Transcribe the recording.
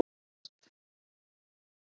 Hún kallast